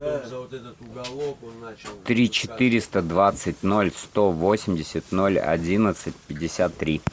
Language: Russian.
три четыреста двадцать ноль сто восемьдесят ноль одиннадцать пятьдесят три